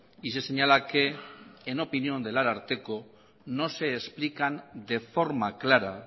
y se señala que en opinión del ararteko no se explican de forma clara